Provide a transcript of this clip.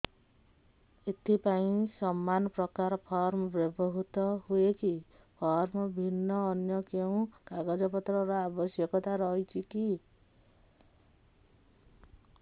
ଏଥିପାଇଁ ସମାନପ୍ରକାର ଫର୍ମ ବ୍ୟବହୃତ ହୂଏକି ଫର୍ମ ଭିନ୍ନ ଅନ୍ୟ କେଉଁ କାଗଜପତ୍ରର ଆବଶ୍ୟକତା ରହିଛିକି